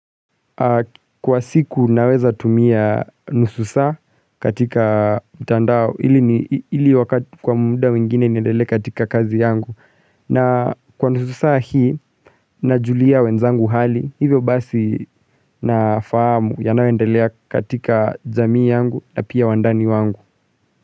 Kwa siku naweza tumia nusu saa katika mtandao ili wakati kwa muda wengine niendelee katika kazi yangu na kwa nusu saa hii na julia wenzangu hali hivyo basi na fahamu yanayoendelea katika jamii yangu na pia wandani wangu.